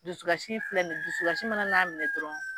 Dusukasi filɛ nin ye dusukasi mana n'a minɛ dɔrɔn